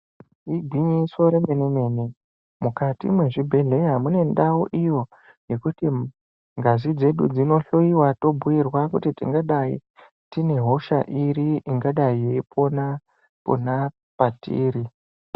Igwinyiso remene-mene mukati mwezvibhehleya mune ndau iyo yekuti ngazi dzedu dzinohloyiwa tobhuirwa kuti tingadai tine hosha iri ingadai yeipona pona patiri.